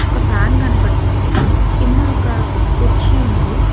ఒక ఫ్యాన్ కనబడుతుంది కింద ఒక కుర్చీ ఉంది.